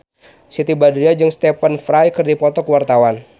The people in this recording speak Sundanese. Siti Badriah jeung Stephen Fry keur dipoto ku wartawan